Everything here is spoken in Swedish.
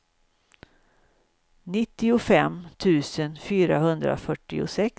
nittiofem tusen fyrahundrafyrtiosex